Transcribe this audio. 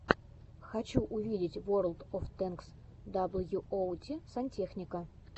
хочу увидеть ворлд оф тэнкс даблюоути сантехника